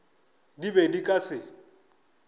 di be di ka se